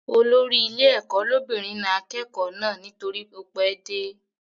Olórí ilé ẹ̀kọ́ lóbìnrin na akẹ́kọ̀ọ́ náà nítorí ó pẹ́ dé